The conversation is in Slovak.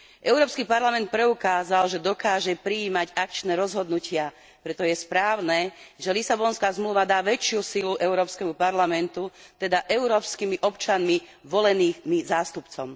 Európsky parlament preukázal, že dokáže prijímať akčné rozhodnutia, preto je správne, že Lisabonská zmluva dá väčšiu silu Európskemu parlamentu, teda európskymi občanmi voleným zástupcom.